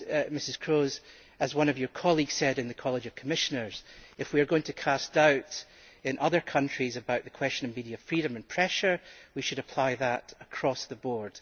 Ms Kroes, as one of your colleagues said in the College of Commissioners, if we are going to cast doubt in other countries about the question of media freedom and pressure, we should apply that across the board.